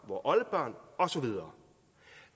vore oldebørn og så videre